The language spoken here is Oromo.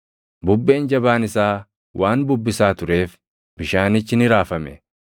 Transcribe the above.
Bubbeen jabaan isaa waan bubbisaa tureef bishaanichi ni raafame.